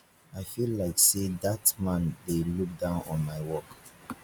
i feel like say dat man dey look down on my work